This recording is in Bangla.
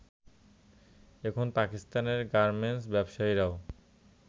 এখন পাকিস্তানের গার্মেন্টস ব্যবসায়ীরাও